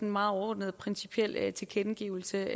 meget overordnede og principielle tilkendegivelser